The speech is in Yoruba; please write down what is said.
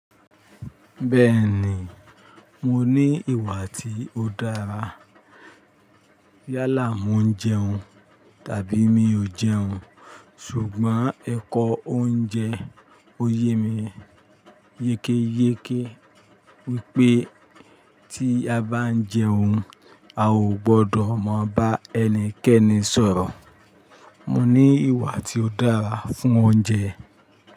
Bẹ́ẹ̀ ni, mo ní ìwà tí ó dára. Yálà, mo ń jẹun tàbí mi ò jẹun. Ṣùgbọ́n ẹ̀kọ́ oúnjẹ ò yé mi yékéyéké. Wípé tí a bá ń jẹun, a ò gbọdọ̀ má bá ẹnikẹ́ni sọ̀rọ̀. Mo ní ìwà tí ó dára fún oúnjẹ.